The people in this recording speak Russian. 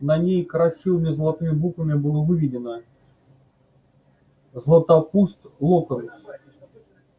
на ней красивыми золотыми буквами было выведено златопуст локонс